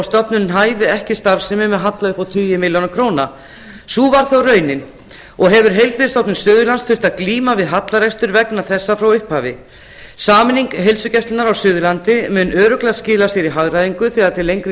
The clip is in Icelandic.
stofnunin hæfi ekki starfsemi með halla upp á tíu milljónir króna sú varð þó raunin og hefur heilbrigðisstofnun suðurlands þurft að glíma við hallarekstur vegna þessa frá upphafi sameining heilsugæslunnar á suðurlandi mun örugglega skila sér í hagræðingu þegar til lengri